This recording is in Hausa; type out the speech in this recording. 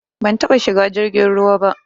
Ban taba shiga jirgin ruwa ba